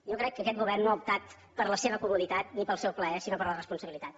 jo crec que aquest govern no ha optat per la seva comoditat ni pel seu plaer sinó per la responsabilitat